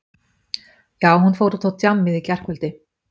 Já, hún fór út á djammið í gærkvöldi.